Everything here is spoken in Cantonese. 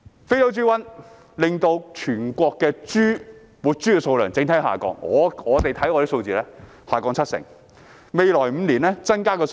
非洲豬瘟令到全國的整體活豬數量下降，我們看到數字下降了七成，未來5年也不會增加太多數量。